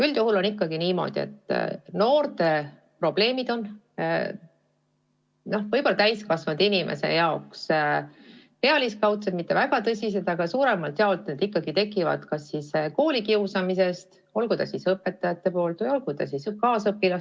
Üldjuhul on niimoodi, et noorte probleemid on täiskasvanud inimese jaoks võib-olla pealiskaudsed, mitte väga tõsised, aga suuremalt jaolt tekivad need ikkagi näiteks koolikiusamisest, olgu siis kiusajaks õpetaja või kaasõpilased.